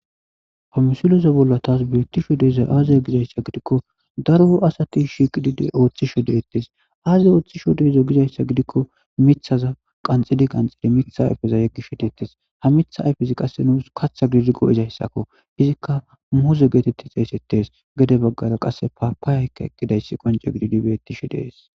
pamsiloza bolla taas beettisho deezay aazaya gizayssa gidikko daro asati shiqidide ooththi shodettes aaziy ooththi shodeza gizayssa gidikko mithaza qanxidi qanxidi mitha ayfeza yeggishshodettes ha mitha ayfezi qasse nuus katha gididigo izayssakko izikka mouse geetetti xeesettes gede baggara qasse paapaayaykka eqkidayssi qonce gididi bettishe dees